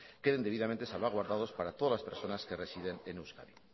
queden debidamente salvaguardados para todas las personas que residen en euskadi